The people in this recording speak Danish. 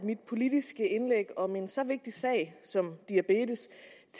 at mit politiske indlæg i om en så vigtig sag som diabetes